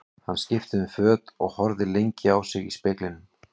Hann skipti um föt og horfði lengi á sig í speglinum.